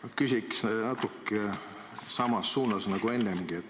Ma küsiks natuke samas suunas nagu ennegi.